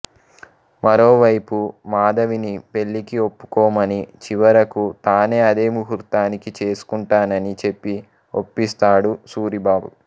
మరోవైపు మాధవిని పెళ్ళికి ఒప్పుకొమ్మని చివరకు తానే అదే ముహూర్తానికి చేసుకుంటానని చెప్పి ఒప్పిస్తాడు సూరిబాబు